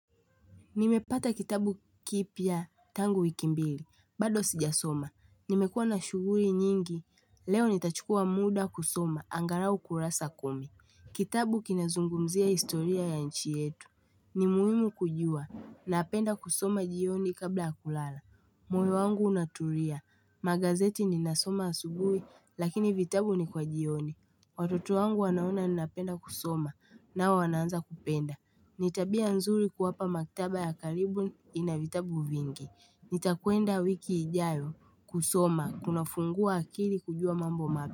Nimepata kitabu kipya tangu wiki mbili. Bado sijasoma. Nimekuwa na shughuli nyingi. Leo nitachukua muda kusoma. Angalau kurasa kumi. Kitabu kinazungumzia historia ya nchi yetu. Ni muhimu kujua. Napenda kusoma jioni kabla ya kulala. Moyo wangu unatulia. Magazeti ninasoma asubuhi lakini vitabu ni kwa jioni. Watoto wangu wanaona ninapenda kusoma nao wanaanza kupenda. Ni tabia nzuri kuwapa maktaba ya karibu ina vitabu vingi. Nitakwenda wiki ijayo kusoma kunafungua akili kujua mambo mapya.